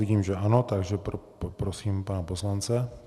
Vidím, že ano, takže poprosím pana poslance.